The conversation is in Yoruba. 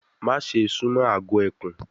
Maṣe sumo agọ ekun